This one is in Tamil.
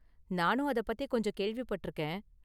நானும் அதை பத்தி கொஞ்சம் கேள்விப்பட்டிருக்கேன்.